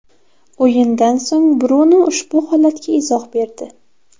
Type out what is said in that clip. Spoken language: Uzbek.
O‘yindan so‘ng Brunu ushbu holatga izoh berdi.